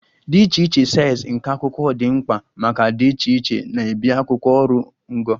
Dị iche iche size nke akwụkwọ dị mkpa maka dị iche iche na-ebi akwụkwọ oru ngo